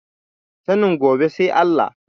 Sanin gobe sai Allah.